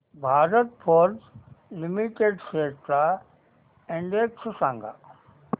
Bharat Forge Limited shares चा index सांगा